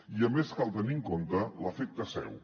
i a més cal tenir en compte l’efecte seu